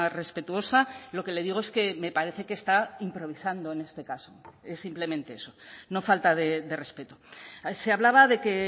respetuosa lo que le digo es que me parece que está improvisando en este caso simplemente eso no falta de respeto se hablaba de que